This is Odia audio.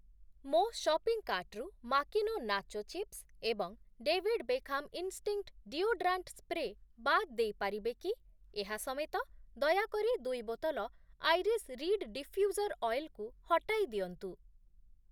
ମୋ ସପିଂ କାର୍ଟ୍‌ରୁ ମାକିନୋ ନାଚୋ ଚିପ୍ସ୍‌ ଏବଂ David Beckham instinct deodorant spray ବାଦ୍ ଦେଇପାରିବେ କି? ଏହା ସମେତ, ଦୟାକରି ଦୁଇ ବୋତଲ ଆଇରିଶ୍ ରୀଡ୍ ଡିଫ୍ୟୁଜର୍ ଅଏଲ୍‌ କୁ ହଟାଇଦିଅନ୍ତୁ ।